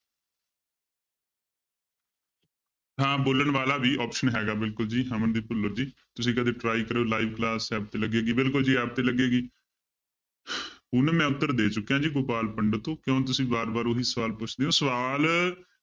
ਹਾਂ ਬੋਲਣ ਵਾਲਾ ਵੀ option ਹੈਗਾ ਬਿਲਕੁਲ ਜੀ ਅਮਨਦੀਪ ਭੁੱਲਰ ਜੀ ਤੁਸੀਂ ਕਦੇ try ਕਰਿਓ live class app ਤੇ ਲੱਗੇਗੀ ਬਿਲਕੁਲ ਜੀ app ਤੇ ਲੱਗੇਗੀ ਪੂਨਮ ਮੈਂ ਉੱਤਰ ਦੇ ਚੁੱਕਿਆ ਜੀ ਗੋਪਾਲ ਪੰਡਤ ਤੋਂ ਕਿਉਂ ਤੁਸੀਂ ਵਾਰ ਵਾਰ ਉਹੀ ਸਵਾਲ ਪੁੱਛਦੇ ਹੋ ਸਵਾਲ